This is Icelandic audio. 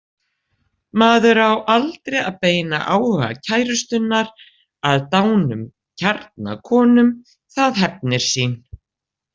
Maður á aldrei að beina áhuga kærustunnar að dánum kjarnakonum, það hefnir sín.